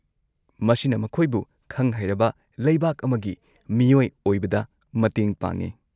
-ꯃꯁꯤꯅ ꯃꯈꯣꯏꯕꯨ ꯈꯪ-ꯍꯩꯔꯕ ꯂꯩꯕꯥꯛ ꯑꯃꯒꯤ ꯃꯤꯌꯣꯏ ꯑꯣꯏꯕꯗ ꯃꯇꯦꯡ ꯄꯥꯡꯏ꯫